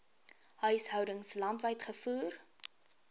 huishoudings landwyd gevoer